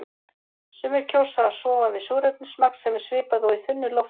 Sumir kjósa að sofa við súrefnismagn sem er svipað og í þunnu lofti.